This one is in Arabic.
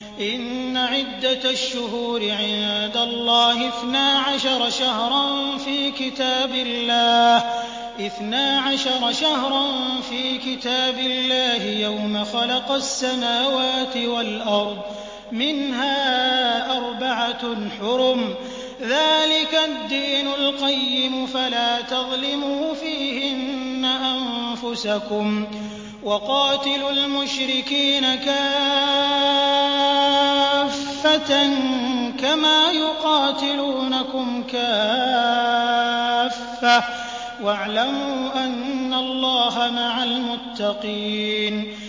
إِنَّ عِدَّةَ الشُّهُورِ عِندَ اللَّهِ اثْنَا عَشَرَ شَهْرًا فِي كِتَابِ اللَّهِ يَوْمَ خَلَقَ السَّمَاوَاتِ وَالْأَرْضَ مِنْهَا أَرْبَعَةٌ حُرُمٌ ۚ ذَٰلِكَ الدِّينُ الْقَيِّمُ ۚ فَلَا تَظْلِمُوا فِيهِنَّ أَنفُسَكُمْ ۚ وَقَاتِلُوا الْمُشْرِكِينَ كَافَّةً كَمَا يُقَاتِلُونَكُمْ كَافَّةً ۚ وَاعْلَمُوا أَنَّ اللَّهَ مَعَ الْمُتَّقِينَ